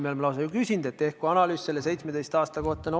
Me oleme ju lausa küsinud, et tehku nende 17 aasta kohta analüüs.